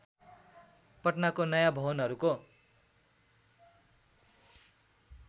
पटनाको नयाँ भवनहरूको